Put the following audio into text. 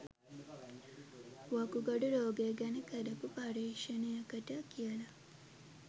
වකුගඩු රෝගය ගැන කරපු පර්යේෂණයකට කියලා.